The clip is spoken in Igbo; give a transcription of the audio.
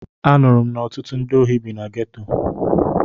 Anụrụ m na ọtụtụ ndị ohi bi na geto.